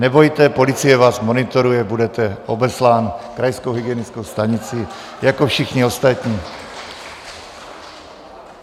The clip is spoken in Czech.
Nebojte, policie vás monitoruje, budete obeslán krajskou hygienickou stanicí, jako všichni ostatní.